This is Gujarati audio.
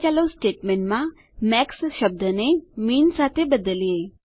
હવે ચાલો સ્ટેટમેંટમાં મેક્સ શબ્દને મિન સાથે બદલીએ